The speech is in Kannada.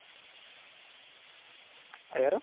ಹ ಯಾರು?